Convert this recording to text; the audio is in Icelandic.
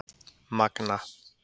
Magna